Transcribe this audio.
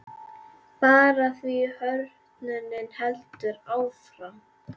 Bara því að hrörnunin heldur áfram.